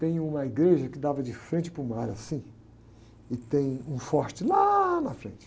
tem uma igreja que dava de frente para o mar, assim, e tem um forte lá na frente.